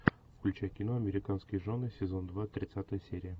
включай кино американские жены сезон два тридцатая серия